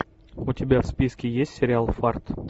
у тебя в списке есть сериал фарт